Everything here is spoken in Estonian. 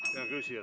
Hea küsija!